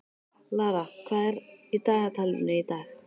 Lara, hvað er í dagatalinu í dag?